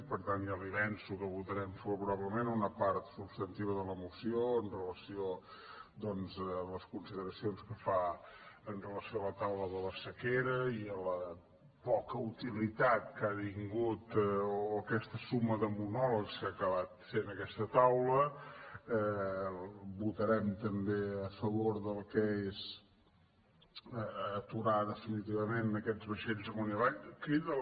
per tant ja li avanço que votarem favorablement una part substantiva de la moció amb relació doncs a les consideracions que fa amb relació a la taula de la sequera i a la poca utilitat que ha tingut o aquesta suma de monòlegs que ha acabat fent aquesta taula votarem també a favor del que és aturar definitivament aquests vaixells amunt i avall